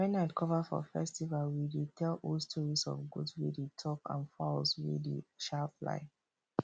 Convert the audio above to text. when night cover for festival we dey tell old stories of goat wey dey talk and fowls wey dey um fly